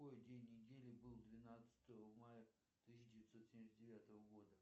какой день недели был двенадцатого мая тысяча девятьсот семьдесят девятого года